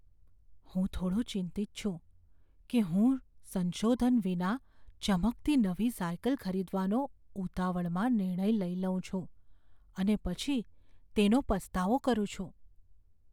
હું થોડો ચિંતિત છું કે હું સંશોધન વિના ચમકતી નવી સાયકલ ખરીદવાનો ઉતાવળમાં નિર્ણય લઈ લઉં છું અને પછી તેનો પસ્તાવો કરું છું.